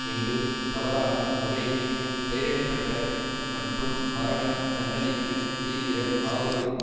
என்று தவறான முறையில் பெயரிட பட்ட மற்றும் மரண தண்டனைக்கு தீவிர ஆதரவு